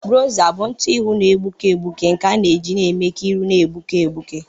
Bronza bụ ntụ ihụ na-egbuke egbuke nke a na-eji eme ka ihu na-egbuke egbuke